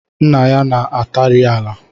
Nna ya na-atịrị ala